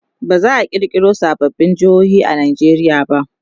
baza'a kirkiro sababbin jehohi a Nigeria ba